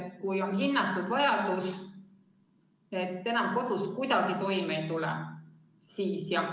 Kui on hinnatud vajadus, enam kodus kuidagi toime ei tule, siis jah.